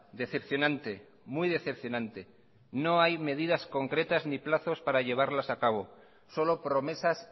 decepcionante muy decepcionante no hay medidas concretas ni plazos para llevarlas a cabo solo promesas